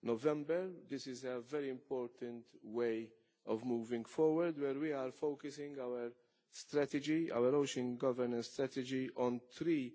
November. This is a very important way of moving forward, focusing our ocean governance strategy on three